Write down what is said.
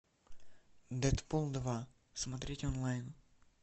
дэдпул два смотреть онлайн